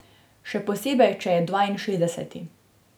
Še posebej če je dvainšestdeseti.